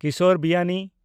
Kishore Biyani